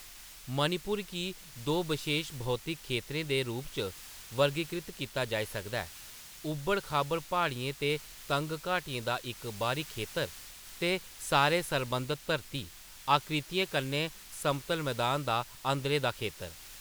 मणिपुर गी दो बशेश भौतिक खेतरें दे रूप च वर्गीकृत कीता जाई सकदा हैः ऊबड़-खाबड़ प्हाड़ियें ते तंग घाटियें दा इक बाह्‌री खेतर, ते सारे संबद्ध धरती आकृतियें कन्नै समतल मदान दा अंदरै दा खेतर।